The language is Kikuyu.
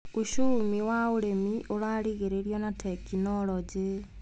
ũcumi wa ũrĩmi ũragĩrio na tekinologĩ.